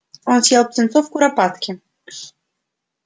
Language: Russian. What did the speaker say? он съел птенцов куропатки